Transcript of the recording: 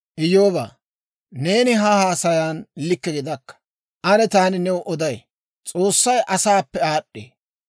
«Iyyoobaa, neeni ha haasayan likke gidakka! Ane taani new oday; S'oossay asaappe aad'd'ee.